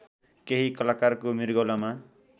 केही कलाकारको मृगौलामा